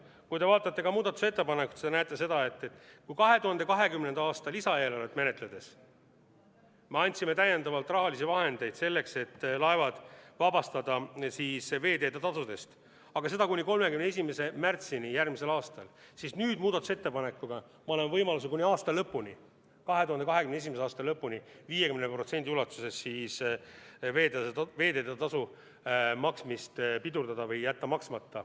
Kui te vaatate muudatusettepanekut, siis te näete, et kui 2020. aasta lisaeelarvet menetledes me andsime täiendavalt rahalisi vahendeid selleks, et laevad vabastada veeteetasudest, aga seda kuni 31. märtsini järgmisel aastal, siis nüüd muudatusettepanekuga me anname võimaluse kuni 2021. aasta lõpuni 50% ulatuses veeteetasu maksmist pidurdada või jätta see maksmata.